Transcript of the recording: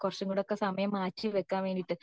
കുറച്ചും കൂടെ ഒക്കെ സമയം മാറ്റി വെക്കാൻ വേണ്ടിയിട്ട്